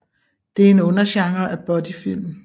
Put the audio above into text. Det er en undergenre af buddyfilm